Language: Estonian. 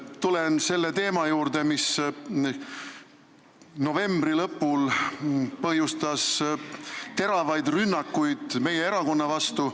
Tulen selle teema juurde, mis novembri lõpul põhjustas teravaid rünnakuid meie erakonna vastu.